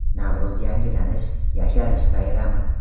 Navro‘z yangilanish, yasharish bayrami.